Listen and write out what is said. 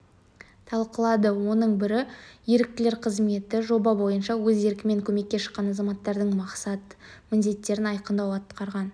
талқылады оның бірі еріктілер қызметі жоба бойынша өз еркімен көмекке шыққан азаматтардың мақсат-міндеттерін айқындау атқарған